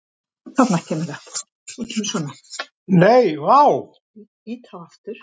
Nei, vá.